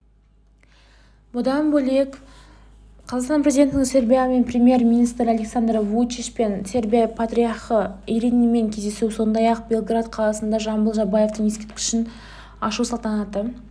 бұдан бөлек қазақстан президентінің сербияның премьер-министрі александр вучичпен сербия патриархы иринеймен кездесуі сондай-ақ белград қаласында жамбыл жабаевтың ескерткішін ашу салтанатты